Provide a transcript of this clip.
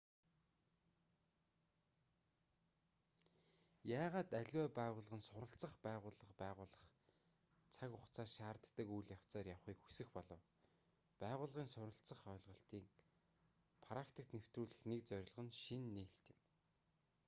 яагаад аливаа байгууллага нь суралцах байгууллага байгуулах цаг хугацаа шаарддаг үйл явцаар явахыг хүсэх болов байгууллагын суралцах ойлголтыг практикт нэвтрүүлэх нэг зорилго нь шинэ нээлт юм